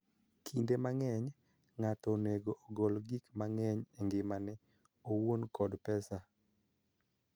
Kinde mang�eny, ng�ato onego ogol gik mang�eny e ngimane owuon kod pesa.